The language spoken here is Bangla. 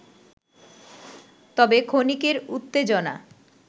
তবে ক্ষণিকের উত্তেজনা